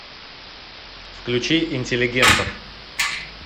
включи интеллигентов